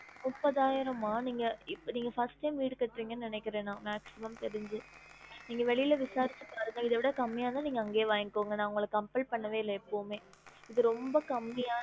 முப்பதாயிரம்மா நீங்க இப்ப நீங்க first time வீடு கட்ரிங்கன்னு நெனைக்குறேன் நா maximum தெரிஞ்சு நீங்க வெளில விசாரிச்சு பாருங்க இத விட கம்மியான நீங்க அங்கயே வாங்கிகோங்க நா உங்கள compel பன்னவே இல்ல எப்பவுமே இது ரொம்ப கம்மியா